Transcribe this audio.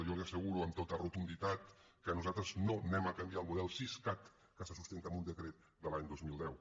jo li asseguro amb tota rotunditat que nosaltres no canviarem el model siscat que se sustenta en un decret de l’any dos mil deu